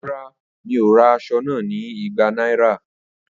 Rara, mi o ra aso naa ni igba naira.